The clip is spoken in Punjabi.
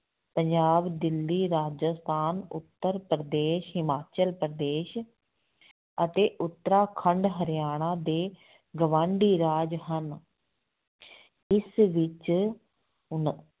ਪੰਜਾਬ, ਦਿੱਲੀ, ਰਾਜਸਥਾਨ, ਉੱਤਰਪ੍ਰਦੇਸ਼, ਹਿਮਾਚਲ ਪ੍ਰਦੇਸ਼ ਅਤੇ ਉਤਰਾਖੰਡ ਹਰਿਆਣਾ ਦੇ ਗਵਾਂਢੀ ਰਾਜ ਹਨ ਇਸ ਵਿੱਚ ਉਣ